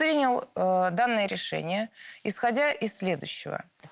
принял данные решения исходя из следующего